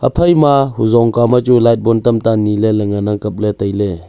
aphai ma huzong kao ma chu light bon tamta nye ley ngan ang kapley tailey.